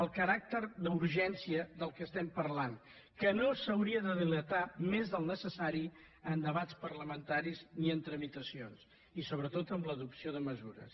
el caràcter d’urgència del que estem parlant que no s’hauria de dilatar més del necessari en debats parlamentaris ni en tramitacions i sobretot en l’adopció de mesures